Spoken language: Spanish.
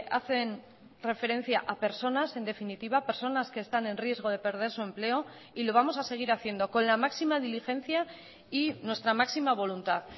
hacen referencia a personas en definitiva personas que están en riesgo de perder su empleo y lo vamos a seguir haciendo con la máxima diligencia y nuestra máxima voluntad